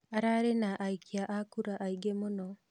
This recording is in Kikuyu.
Ararĩ na aikia a kura aingĩ mũno